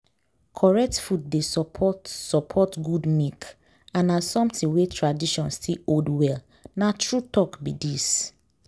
correct food dey support support good milk and na something wey tradition still hold well. na true talk be dis.